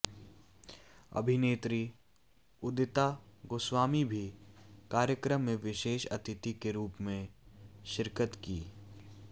अभिनेत्री उदिता गोस्वामी भी कार्यक्रम में विशेष अतिथि के रूप में शिरकत की